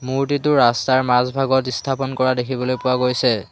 মূৰ্ত্তিটো ৰাস্তাৰ মাজভাগত স্থাপন কৰা দেখিবলৈ পোৱা গৈছে।